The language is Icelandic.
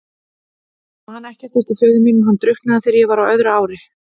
Ég man ekkert eftir föður mínum, hann drukknaði þegar ég var á öðru ári.